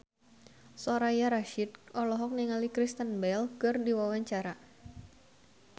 Soraya Rasyid olohok ningali Kristen Bell keur diwawancara